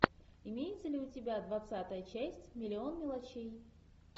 имеется ли у тебя двадцатая часть миллион мелочей